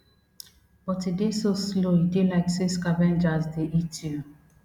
but e dey so slow e dey like say scavengers dey eat you